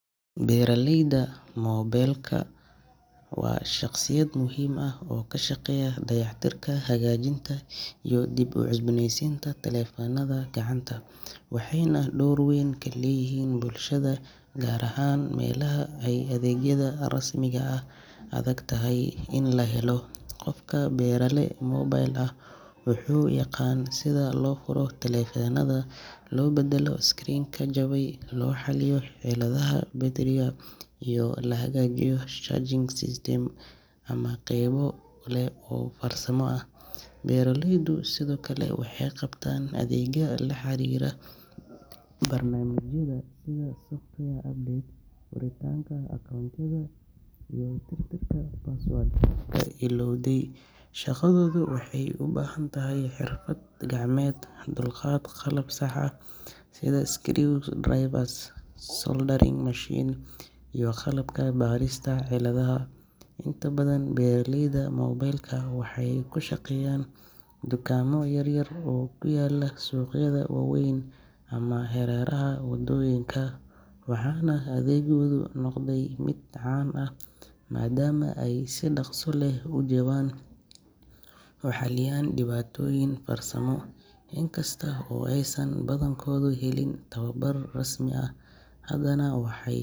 Beraleyda moobilka waa shaqsiyaad muhiim ah oo ka shaqeeya dayactirka, hagaajinta, iyo dib u cusboonaysiinta taleefannada gacanta, waxayna door weyn ku leeyihiin bulshada gaar ahaan meelaha ay adeegyada rasmiga ah adag tahay in la helo. Qofka berale moobil ah wuxuu yaqaan sida loo furo taleefannada, loo beddelo screen-ka jabay, loo xaliyo ciladaha battery-ga, iyo in la hagaajiyo charging system ama qaybo kale oo farsamo ah. Beraleydu sidoo kale waxay qabtaan adeegyo la xiriira barnaamijyada sida software update, furitaanka account-yada, iyo tirtirka password-ka illowday. Shaqadoodu waxay u baahan tahay xirfad gacmeed, dulqaad, qalab sax ah sida screwdrivers, soldering machine, iyo qalabka baarista ciladaha. Inta badan beraleyda moobilka waxay ku shaqeeyaan dukaamo yaryar oo ku yaalla suuqyada waaweyn ama hareeraha wadooyinka, waxaana adeeggoodu noqday mid caan ah maadaama ay si dhaqso leh oo jaban u xaliyaan dhibaatooyin farsamo. In kasta oo aysan badankoodu helin tababar rasmi ah, haddana waxay.